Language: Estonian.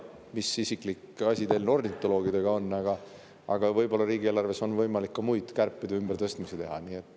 Ma ei tea, mis isiklik asi teil ornitoloogidega on, aga võib-olla riigieelarves on võimalik ka muid kärpeid ja ümbertõstmisi teha.